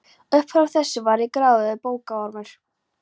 Upp frá þessu var ég gráðugur bókaormur.